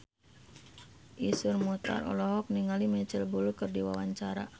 Iszur Muchtar olohok ningali Micheal Bubble keur diwawancara